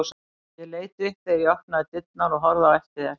Ég leit upp þegar þú opnaðir dyrnar og horfði á eftir þér.